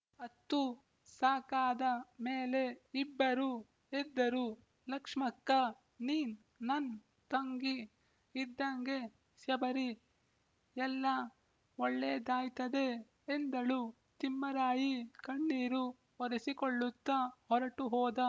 ಅತ್ತು ಸಾಕಾದ ಮೇಲೆ ಇಬ್ಬರೂ ಎದ್ದರು ಲಕ್ಷ್ಮಕ್ಕ ನೀನ್ ನನ್ ತಂಗಿ ಇದ್ದಂಗೆ ಸ್ಯಬರಿ ಎಲ್ಲಾ ಒಳ್ಳೇದಾಯ್ತದೆ ಎಂದಳು ತಿಮ್ಮರಾಯಿ ಕಣ್ಣೀರು ಒರೆಸಿಕೊಳ್ಳುತ್ತ ಹೊರಟುಹೋದ